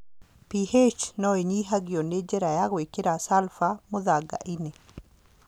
PH no ĩnyihanyihio na njĩra ya gwĩkĩra sulfur mũthanga-inĩ.